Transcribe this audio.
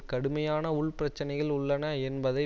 கடுமையான உள் பிரச்சனைகள் உள்ளன என்பதை